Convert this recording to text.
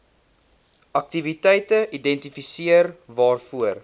aktiwiteite identifiseer waarvoor